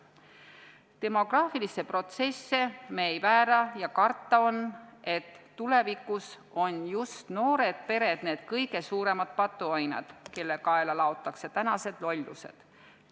Demograafilisi protsesse me ei väära ja karta on, et tulevikus on just noored pered need kõige suuremad patuoinad, kelle kaela laotakse tänased lollused.